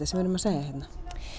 sem við erum að segja hérna